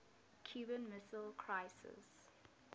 cuban missile crisis